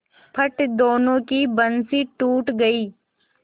फट दोनों की बंसीे टूट गयीं